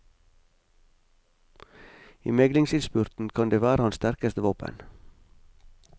I meglingsinnspurten kan det være hans sterkeste våpen.